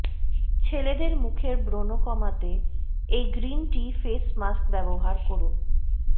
ছেলেদের মুখের ব্রণ কমাতে এই গ্রিন টি ফেস মাস্ক ব্যবহার করুন